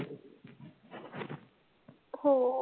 हो.